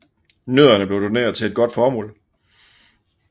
Nødderne blev doneret til et godt formål